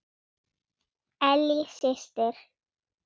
Ellý systir.